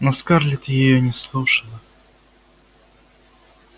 но скарлетт её не слушала